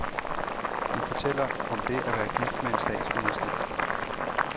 Hun fortæller om det at være gift med en statsminister.